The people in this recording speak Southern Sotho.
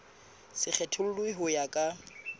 se kgethollwe ho ya ka